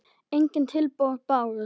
Engin tilboð bárust.